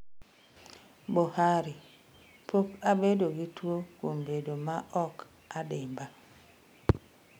Buhari: Pok abedo gi tuo kuom bedo ma ok adimba